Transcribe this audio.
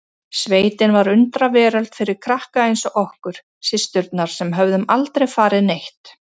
Sveitin var undraveröld fyrir krakka eins og okkur systurnar sem höfðum aldrei farið neitt.